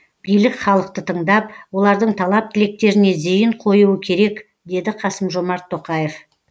билік халықты тыңдап олардың талап тілектеріне зейін қоюы керек деді қасым жомарт тоқаев